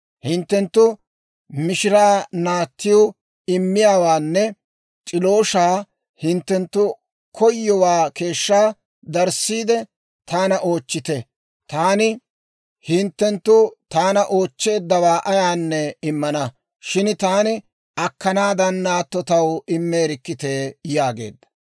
Hinttenttu mishira naattiw immiyaawaanne c'ilooshshaa hinttenttu koyowaa keeshshaa darissiide taana oochchite; taani hinttenttu taana oochcheeddawaa ayaanne immana; shin taani akkanaaddan naatto taw immeerikkitee!» yaageedda.